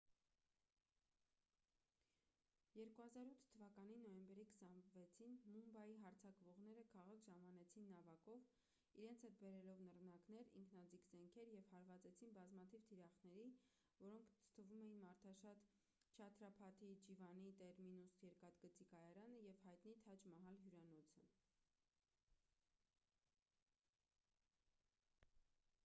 2008 թվականի նոյեմբերի 26-ին մումբայի հարձակվողները քաղաք ժամանեցին նավակով իրենց հետ բերելով նռնակներ ինքնաձիգ զենքեր և հարվածեցին բազմաթիվ թիրախների որոնց թվում էին մարդաշատ չհաթրափաթի շիվաջի տերմինուս երկաթգծի կայարանը և հայտնի թաջ մահալ հյուրանոցը